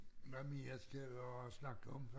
Hvad mere skal vi snakke om?